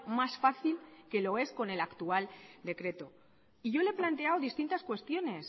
más fácil que lo es con el actual decreto y yo le he planteado distintas cuestiones